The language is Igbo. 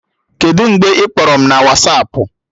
Kedụ mgbe ị kpọrọ m na Wasapụ?